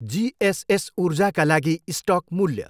GSS ऊर्जाका लागि stock मूल्य।